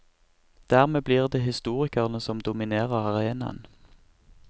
Dermed blir det historikerne som dominerer arenaen.